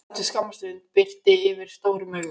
Eftir skamma stund birti yfir stóru augunum.